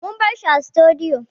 Mun bar shi a sutudiyo